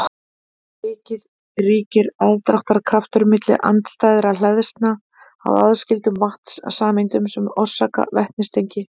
fyrir vikið ríkir aðdráttarkraftur milli andstæðra hleðslna á aðskildum vatnssameindum sem orsakar vetnistengi